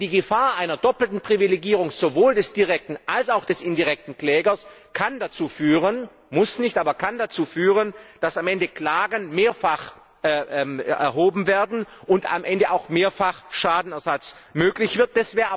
Denn die Gefahr einer doppelten Privilegierung sowohl des direkten als auch des indirekten Klägers kann dazu führen muss nicht, aber kann dazu führen dass am Ende Klagen mehrfach erhoben werden und am Ende auch mehrfach Schadenersatz möglich wird.